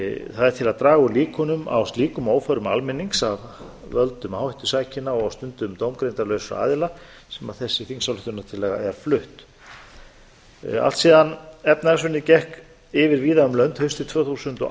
það er til að draga úr líkunum á slíkum óförum almennings af völdum áhættusækinna og stundum dómgreindarlausra aðila sem þessi þingsályktunartillaga er flutt allt síðan efnahagshrunið gekk yfir víða um lönd haustið tvö þúsund og